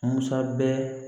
Musa bɛɛ